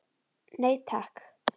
Nei takk.